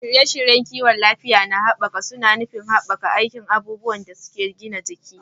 Shirye-shiryen kiwon lafiya na gaba suna nufin haɓaka aikin abubuwan da ake gina jiki